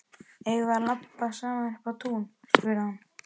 Eigum við að labba saman upp á tún? spurði hann.